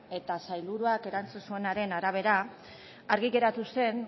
eta sailburuak erantzun zuenaren arabera argi geratu zen